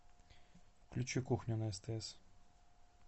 включи кухню на стс